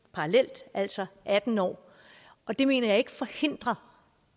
parallelt altså atten år og det mener jeg ikke forhindrer